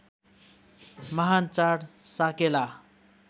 महान् चाड साकेला